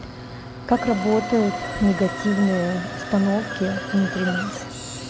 как работают негативные установки внутри нас